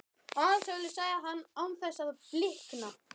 Alsælu, sagði hann án þess að blikna.